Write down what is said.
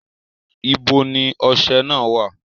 Ibo ni ọṣẹ náà wà?